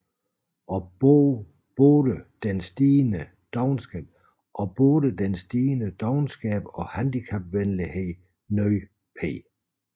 Og både den stigende dovenskab og handicapvenlighed nød P